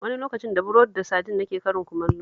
Wani lokacin da burodi da sadin nake karin kumallo